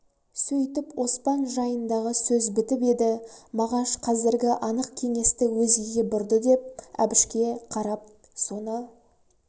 сөйтіп оспан жайындағы сөз бітіп еді мағаш қазіргі анық кеңесті өзгеге бұрды деп әбішке қарап соны